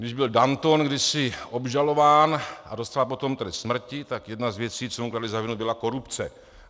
Když byl Danton kdysi obžalován a dostal potom trest smrti, tak jedna z věcí, co mu kladli za vinu, byla korupce.